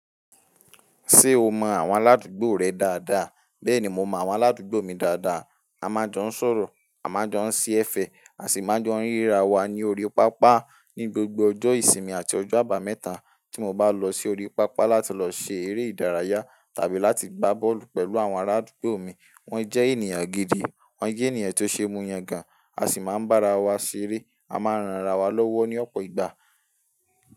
Ṣé o mọ àwọn aládùúgbò rẹ dáadáa? Bẹ́ẹ̀ni, mo mọ àwọn aládùúgbò mi dáadáa. A máa jọ ń sọ̀rọ̀, a máa jọ ń ṣe ẹ̀fẹ̀, a sì máa jọ ń ríra wa ní orí pápá ní gbogbo ọjọ́ ìsinmi àti ọjọ́ àbámẹ́ta. Tí mo bá lọ sí orí pápá láti lọ ṣe eré ìdárayá tàbí láti gbá bọ́ọ̀lù pẹ̀lú àwọn ará àdúgbò mi, wọ́n jẹ́ ènìyàn gidi, wọ́n jẹ́ ènìyàn tó ṣe mú yàn gan, a sì máa ń bára wa ṣeré. A máa ń ranra wa lọ́wọ́ ní ọ̀pọ̀ ìgbà.